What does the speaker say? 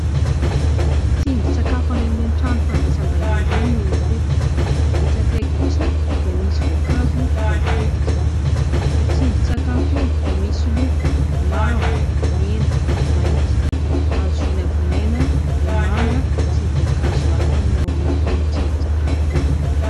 Tsindrin-tsakafo any amin'ireny toerana fandraisam-bahiny ireny no hita eto. Etsy akaiky kosa dia misy voankazo voatetika. Io tsindrin-tsakafo io dia misy loko : mavo, mena, mainty. Azo vinavinaina ho manga sy voankazo hafa ny ao anatin'io tsindrin-tsakafo io.